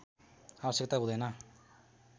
आवश्यकता हुँदैन